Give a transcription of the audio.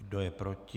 Kdo je proti?